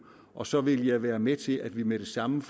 og så ville jeg være med til at vi med det samme